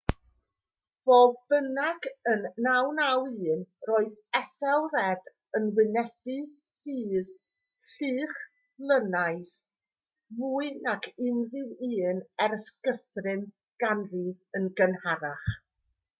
fodd bynnag yn 991 roedd ethelred yn wynebu fflyd lychlynnaidd fwy nag unrhyw un ers guthrum ganrif yn gynharach